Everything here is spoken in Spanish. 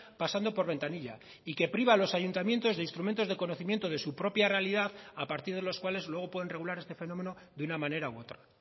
pasando por ventanilla y que priva a los ayuntamientos de instrumentos de conocimiento de su propia realidad a partir de los cuales luego pueden regular este fenómeno de una manera u otra